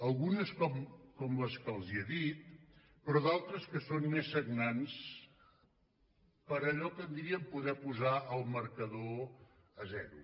algunes com la que els he dit però d’altres que són més sagnants per allò que en diríem poder posar el marcador a zero